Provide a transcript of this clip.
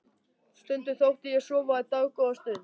Stundum þóttist ég sofa í dágóða stund.